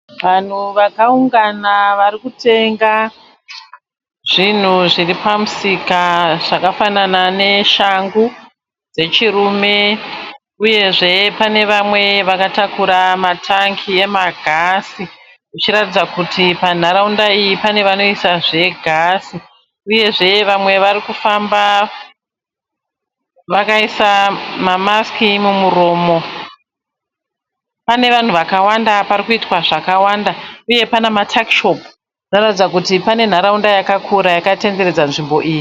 Vanhu vakaungana varikutenga zvinhu vakaungana zvakafanana neshangu dzechurume, uye zve panevamwe avakatakura matangi egas kuratidza kuti pane pedyo panotengeswa gas, panzvimbo iyi panoratidza kuti panoitwa zvakawandawanda.